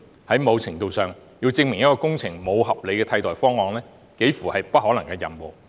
在某程度來說，要證明一項工程沒有合理的替代方案，幾乎是不可能的任務。